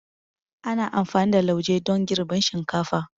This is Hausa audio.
Ana amfani da lauje don girbin shinkafa.